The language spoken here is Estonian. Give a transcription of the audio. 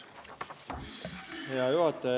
Hea juhataja!